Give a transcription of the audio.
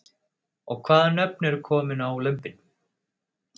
Og hvaða nöfn eru komin á lömbin?